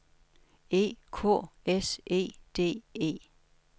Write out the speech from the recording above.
E K S E D E